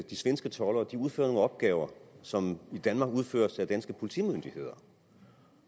de svenske toldere udfører nogle opgaver som i danmark udføres af danske politimyndigheder